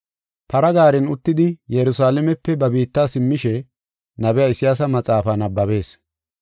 Para gaaren uttidi, Yerusalaamepe ba biitta simmishe nabiya Isayaasa maxaafaa nabbabees.